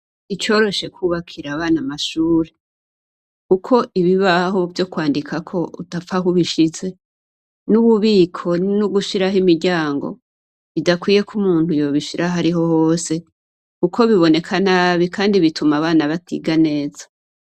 S'icoroshe kubakira abana amashure, kuko ibibaho vyo kwandiko udapfa aho ubishize ,n'ubibiko ,n'ugushiraho imiryango bidakwiye k'umuntu yobishira ahariho hose ,kuko biboneka nabi kandi bituma abana batiga neza.